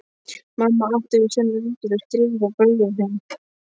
Mamma átti við sömu veikindi að stríða og bróðir þinn.